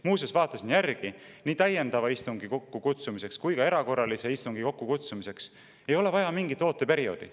Muuseas, vaatasin järele, nii täiendava istungi kokkukutsumiseks kui ka erakorralise istungi kokkukutsumiseks ei ole vaja mingit ooteperioodi.